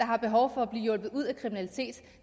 har behov for at blive hjulpet ud af kriminalitet